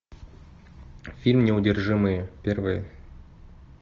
фильм неудержимые первые